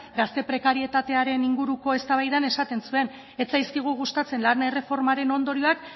gazte prekarietatearen inguruko eztabaidan esate zuen ez zaizkigu gustatzen lan erreformaren ondorioak